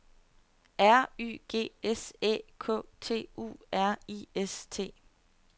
R Y G S Æ K T U R I S T